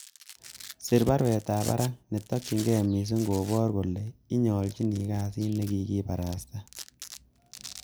Sir baruetab barak, netokyinge missing koboru kole ininyolchin kasit nekikibarasta.